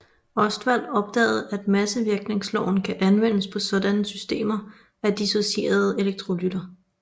Ostwald opdagede at massevirkningsloven kan anvendes på sådanne systemer af dissocierende elektrolytter